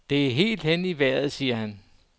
Det er helt hen i vejret, siger han.